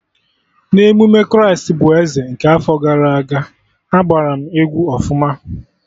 Na emume Kraịst bụ Eze nke afọ gara aga, agbaram egwu ọfụma